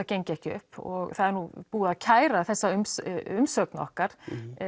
gengi ekki upp og það er nú búið að kæra þessa umsögn okkar